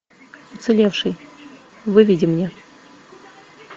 уцелевший выведи мне